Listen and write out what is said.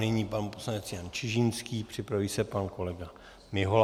Nyní pan poslanec Jan Čižinský, připraví se pan kolega Mihola.